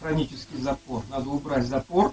хронический запор надо убрать запор